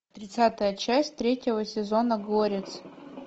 тридцатая часть третьего сезона горец